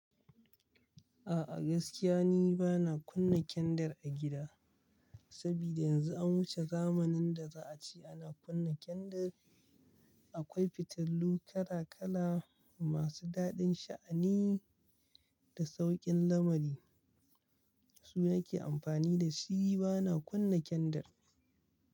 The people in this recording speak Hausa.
A'a gaskiya ni ba na kunna kyandir a gida, saboda yanzu an wuce zamanin da za a ce ana kunna kyandir. Akwai fitilu kala kala masu dadin sha'ani da saukin lamari. Su na ke amfani da shi ba na kunna kyandir.